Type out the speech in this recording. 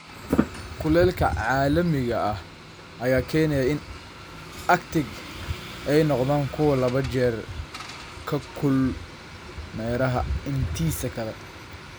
Kulaylka caalamiga ah ayaa keenaya in Arctic ay noqdaan kuwo laba jeer ka kulul meeraha intiisa kale.